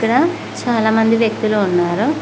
క్కడ చాలా మంది వ్యక్తులు ఉన్నారు.